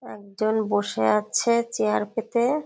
একজন বসে আছে চেয়ার পেতে।